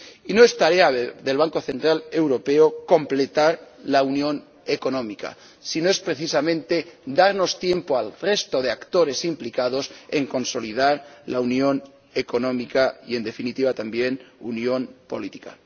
Y no es tarea del Banco Central Europeo completar la unión económica, sino es, precisamente, darnos tiempo al resto de actores implicados en consolidar la unión económica y, en definitiva también, la unión política.